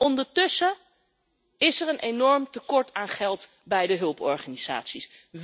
Ondertussen is er een enorm tekort aan geld bij de hulporganisaties.